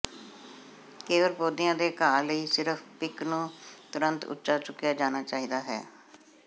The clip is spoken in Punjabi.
ਕੇਵਲ ਪੌਦਿਆਂ ਦੇ ਘਾਹ ਲਈ ਸਿਰਫ ਪਿੰਕ ਨੂੰ ਤੁਰੰਤ ਉੱਚਾ ਚੁੱਕਿਆ ਜਾਣਾ ਚਾਹੀਦਾ ਹੈ